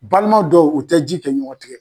Balima dɔw u tɛ ji kɛ ɲɔgɔn tɛgɛ.